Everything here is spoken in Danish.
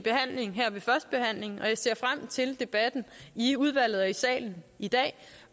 behandling og jeg ser frem til debatten i udvalget og i salen i dag